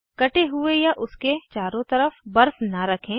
कटे हुए पर या उसके चारों तरफ बर्फ न रखें